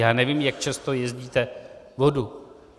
Já nevím, jak často jezdíte vodu.